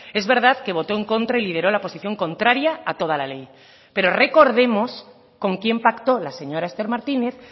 es verdad que votó en contra y lideró la posición contraria a toda la ley pero recordemos con quién pactó la señora esther martínez